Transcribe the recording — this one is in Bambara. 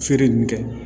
Feere ninnu kɛ